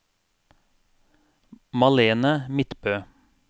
Malene Midtbø